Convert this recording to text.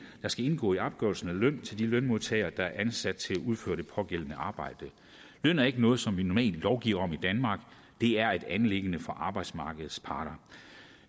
der skal indgå i opgørelsen af løn til de lønmodtagere der er ansat til at udføre det pågældende arbejde løn er ikke noget som vi normalt lovgiver om i danmark det er et anliggende for arbejdsmarkedets parter